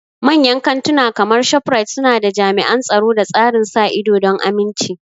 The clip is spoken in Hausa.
Manyan kantuna kamar ShopRite suna da jami'an tsaro da tsarin sa ido don aminci.